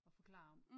At forklare om